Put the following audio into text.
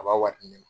A b'a wari di ne ma